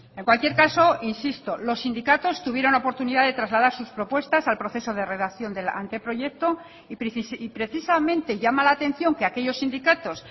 en cualquier caso insisto los sindicatos tuvieron oportunidad de trasladar sus propuestas al proceso de redacción del anteproyecto y precisamente llama la atención que aquellos sindicatos